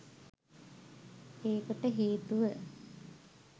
ඒකට හේතුව